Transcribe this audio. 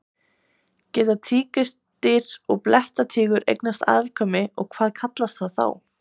Geta tígrisdýr og blettatígur eignast afkvæmi og hvað kallast það þá?